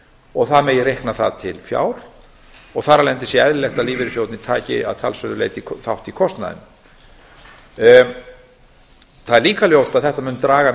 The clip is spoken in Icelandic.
og það megi reikna það til fjár og þar af leiðandi sé eðlilegt að lífeyrissjóðirnir taki að talsverðu leyti þátt í kostnaðinum það er líka ljóst að þetta mun draga